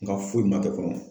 N ka foyi ma kɛ fɔlɔ.